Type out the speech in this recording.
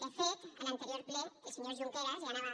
de fet a l’anterior ple el senyor junqueras ja anava